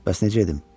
Bəs necə edim?